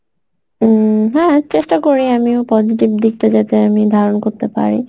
উম হ্যাঁ চেষ্টা করি আমিও positive দিকটা যাতে আমি ধারণ করতে পারি